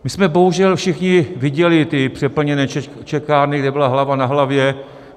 My jsme bohužel všichni viděli ty přeplněné čekárny, kde byla hlava na hlavě.